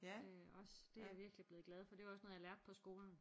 Også det er jeg virkelig blevet glad for det var også noget jeg lærte på skolen